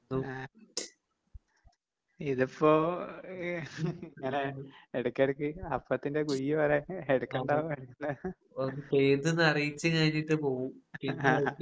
ആഹ് ഇതിപ്പോ ഇങ്ങനെ എടയ്ക്കെടയ്ക്ക് അപ്പത്തിന്റെ കുഴിപോലെ ഇടയ്ക്കൊണ്ടാവും ഇടയ്ക്ക്